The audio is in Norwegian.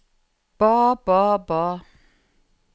ba ba ba